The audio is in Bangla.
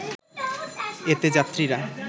এতে যাত্রীরা